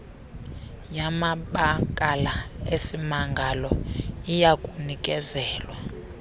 yamabakala esimangalo iyakunikezelwa